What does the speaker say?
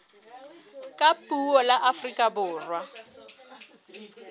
ka puo la afrika borwa